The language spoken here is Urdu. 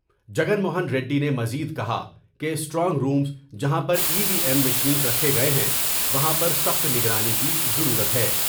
جگن موہن ریڈی نے مزید کہا کہ اسٹرانگ رومز جہاں پر ای وی ایم مشینز رکھے گئے ہیں وہاں پرسخت نگرانی کی ضرورت ہے ۔